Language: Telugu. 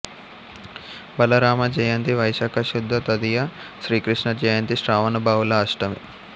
బలరామ జయంతి వైశాఖ శుద్ధ తదియ శ్రీకృష్ణ జయంతి శ్రావణ బహుళ అష్టమి